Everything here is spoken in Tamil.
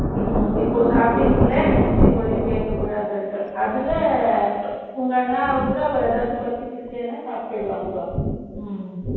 ம்ம். இப்போ சாப்பிட்டீங்கல்ல, next week வரையும் கேட்கக்கூடாதுன்னுட்டு. அதுல, உங்க அண்ணாவை கூட, அவள் ஏதாவது பசிக்கிசுன்னா, சாப்பிட்டுடுவாங்க